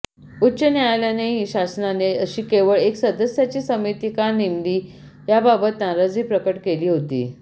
उच्च न्यायालयानेही शासनाने अशी केवळ एका सदस्याची समिती का नेमली याबाबत नाराजी प्रकट केली होती